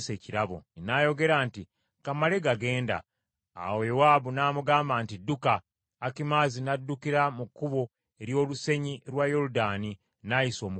N’ayogera nti, “Ka mmale gagenda.” Awo Yowaabu n’amugamba nti, “Dduka.” Akimaazi n’addukira mu kkubo ery’olusenyi lwa Yoludaani n’ayisa Omukusi.